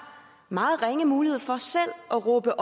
meget ringe mulighed for selv at råbe